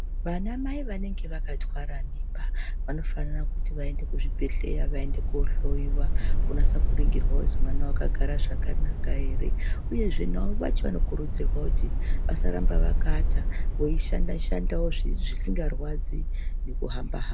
Vana mai vanenege vakatwara mimba, vanofanira kuti vaende kuzvibhedleya vaende kunohloyiwa ,kunasoringirwa kuti mwana wakagara zvakanaka here. Uyezve navo vacho vanokurudzirwa kuti vasaramba akavata beyishanda shandawo zvisingarwadzi nekuhamba hamba .